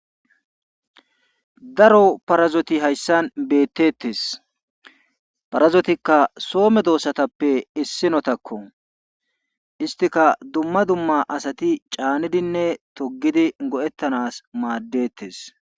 Daroparazoti hayssan beetteete parazotikka soo medoosatappe issinnotakko isttika asati dumma dumma caanidinne toggidi go7ettanaas maaddeettes.